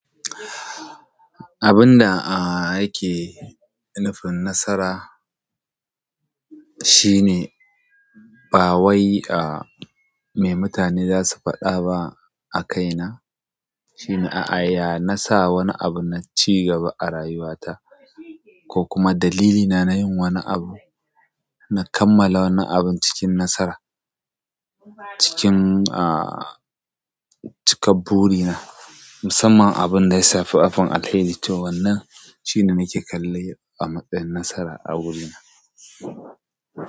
Abun da yake nufin nasara shine ba wai a me mutane zasu faɗa ba a kaina, shine a'a ya nasa wani abu na cigaba a rayuwa ta. Ko kuma dalilina na yin wani abu na kammala wannan abun cikin nasara. Cikin, ah, cikar burina. Musamman abunda ya shafi offer Alkairi to wannan shine nake kallon a matsayin nasara a wurina.